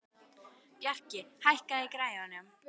Bjarki, hækkaðu í græjunum.